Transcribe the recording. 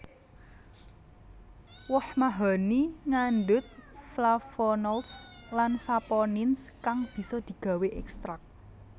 Woh mahoni ngandhut Flavonolds lan Saponins kang bisa digawé ékstrak